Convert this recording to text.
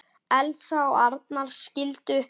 Elsa og Arnar skildu.